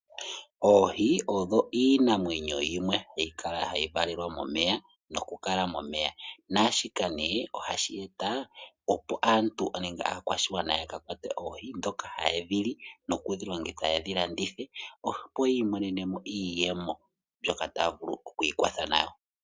Oohi odho iinamwenyo yimwe hayi kala nokuvalelwa momeya. Shika ohashi eta aakwashigwana ya kakwate oohi yalye noyalandithe wo yi imonene iiyemo mbyoka taya vulu oku ikwatha nayo.